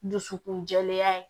Dusukun jɛlenya ye